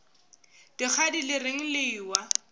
dikgadi le reng le ewa